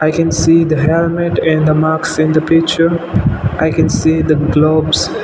i can see the helmet and the mask in the picture i can see the gloves.